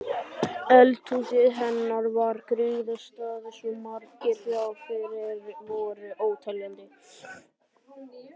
Eldhúsið hennar var griðastaður svo margra, já þeir voru óteljandi.